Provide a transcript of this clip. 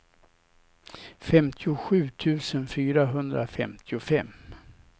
femtiosju tusen fyrahundrafemtiofem